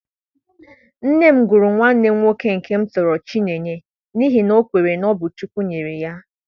Nne m gụrụ nwanne m nwoke nke m tọrọ Chinyere n’ihi na o kweere na ọ bụ Chineke nyere ya.